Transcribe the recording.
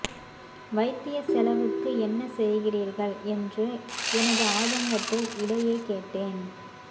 வைத்தியச் செலவுக்கு என்ன செய்கிறீர்கள் என்று எனது ஆதங்கத்தை இடையே கேட்டேன்